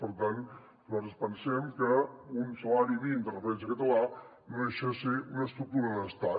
per tant nosaltres pensem que un salari mínim de referència català no deixa de ser una estructura d’estat